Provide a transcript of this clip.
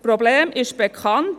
Das Problem ist bekannt;